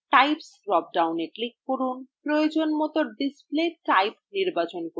types drop down এ click করুন এবং প্রয়োজনমত display type নির্বাচন করুন